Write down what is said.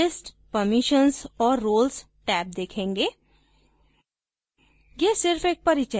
आप list permissions और roles tab देखेंगे